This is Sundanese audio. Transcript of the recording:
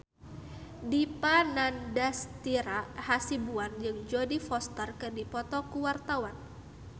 Dipa Nandastyra Hasibuan jeung Jodie Foster keur dipoto ku wartawan